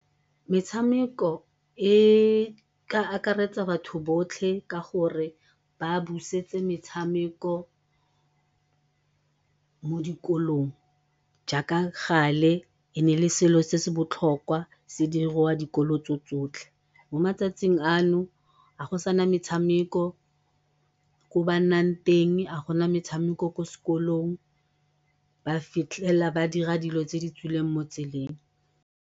Metshameko e ka akaretsa batho botlhe ka gore ba busetse metshameko mo dikolong jaaka gale e ne e le selo se se botlhokwa se diriwa dikolo tso tsotlhe. Mo matsatsing a no ga go sana metshameko ko ba nnang teng, ga go sana metshameko ko sekolong ba fitlhela ba dira dilo tse di tswileng mo tseleng.